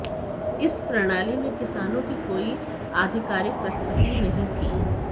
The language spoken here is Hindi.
इस प्रणाली में किसानों की कोई आधिकारिक प्रस्थिति नहीं थी